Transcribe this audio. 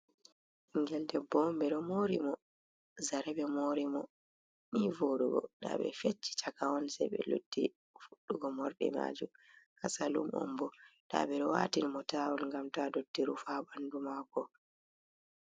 Ɓingel debbo on ɓe ɗo mori mo, zare ɓe mori mo nii voɗugo, nda ɓe fecci chaka on se ɓe lutti fuɗɗugo morɗi majum haa salum on bo nda ɓe ɗo watin mo tawun ngam ta dotti rufa ɓandu mako.